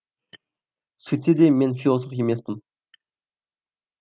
сөйтсе де мен философ емеспін